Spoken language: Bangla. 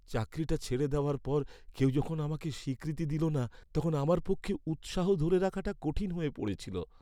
চাকরিটা ছেড়ে দেওয়ার পর কেউ যখন আমাকে স্বীকৃতি দিল না, তখন আমার পক্ষে উৎসাহ ধরে রাখাটা কঠিন হয়ে পড়েছিল।